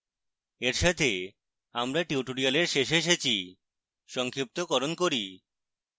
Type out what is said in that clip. এর সাথে আমরা tutorial শেষে এসেছি সংক্ষিপ্তকরণ করি